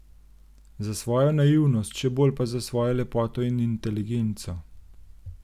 Za svojo naivnost, še bolj pa za svojo lepoto in inteligenco.